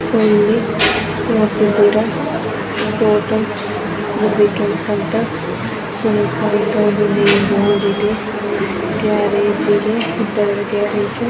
So ಇಲ್ಲಿ ನೀವು ನೋಡ್ತಾ ಇದ್ದೀರಾ ಸುನಿತಾ ಸರ್ವಿಸಿಂಗ್ ಸೆಂಟರ್ ಅಂತ ಬೋರ್ಡ್ ಇದೆ ಗ್ಯಾರೇಜ್ ಇದೆ ಗ್ಯಾರೇಜ್ .